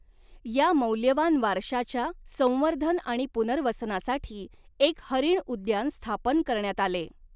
या मौल्यवान वारशाच्या संवर्धन आणि पुनर्वसनासाठी एक हरीण उद्यान स्थापन करण्यात आले.